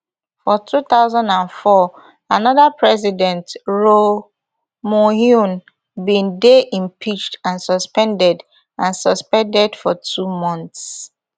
for two thousand and four another president roh moohyun bin dey impeached and suspended and suspended for two months